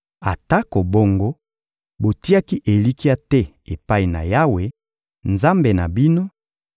Atako bongo, botiaki elikya te epai na Yawe, Nzambe na bino,